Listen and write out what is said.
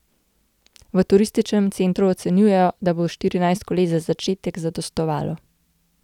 V turističnem centru ocenjujejo, da bo štirinajst koles za začetek zadostovalo.